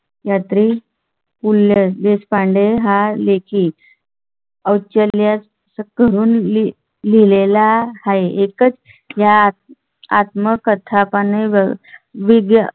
यात्री पू ल देशपांडे हा लेख ई. ऐकल्यास करून लिहिले ला हे एकच ह्या आत्मकथा पाळल्यास मुळे.